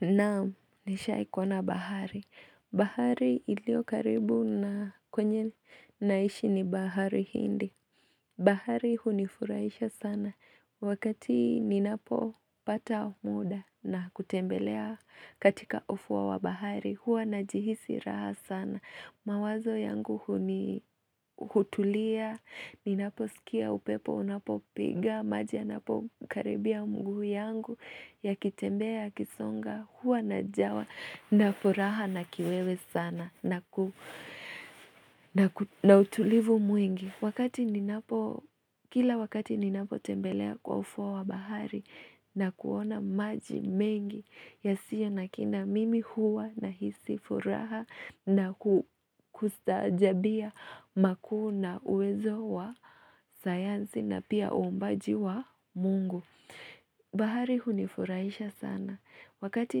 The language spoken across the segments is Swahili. Naam, nishai kuona bahari. Bahari ilio karibu na kwenye naishi ni bahari hindi. Bahari hunifurahisha sana. Wakati ninapopata muda na kutembelea katika ufuo wa bahari. Huwa najihisi raha sana mawazo yangu huni hutulia Ninaposikia upepo unapo piga maji yanapo karibia mguu yangu Yakitembea yakisonga Huwa najawa na furaha na kiwewe sana na utulivu mwingi Wakati ninapo Kila wakati ninapo tembelea kwa ufuo wa bahari na kuona maji mengi yasiyo na kina mimi huwa nahisi furaha na kustaajabia makuu na uwezo wa sayansi na pia uumbaji wa mungu bahari hunifurahisha sana Wakati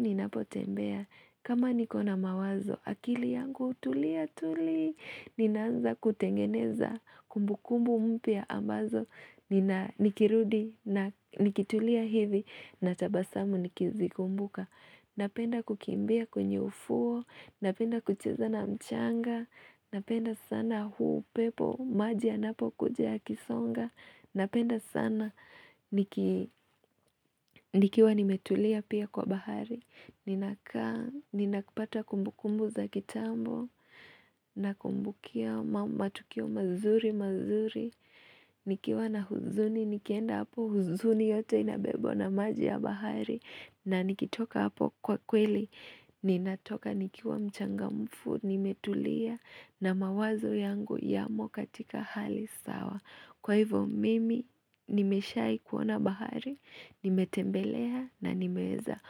ninapotembea kama nikona mawazo akili yangu hutulia tuli Ninaanza kutengeneza kumbukumbu mpya ambazo nikirudi na nikitulia hivi natabasamu nikizikumbuka Napenda kukimbia kwenye ufuo, napenda kucheza na mchanga, napenda sana huu upepo maji yanapo kuja yakisonga, napenda sana nikiwa nimetulia pia kwa bahari, ninakaa ninapata kumbukumbu za kitambo, nakumbukia matukio mazuri mazuri, nikiwa na huzuni, nikienda hapo huzuni yote inabebwa na maji ya bahari na nikitoka hapo kwa kweli, ninatoka nikiwa mchangamfu, nimetulia na mawazo yangu yamo katika hali sawa. Kwa hivyo mimi, nimeshai kuona bahari, nimetembelea na nimeweza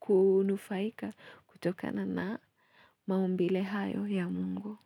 kunufaika kutokana na maumbile hayo ya mungu.